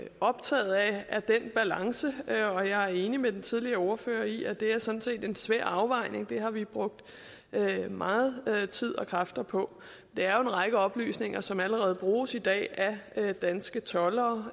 optaget af den balance og jeg er enig med den tidligere ordfører i at det sådan set er en svær afvejning det har vi brugt meget meget tid og mange kræfter på det er jo en række oplysninger som allerede bruges i dag af danske toldere